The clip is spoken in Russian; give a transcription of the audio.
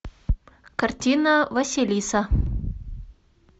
картина василиса